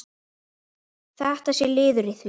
Þetta sé liður í því.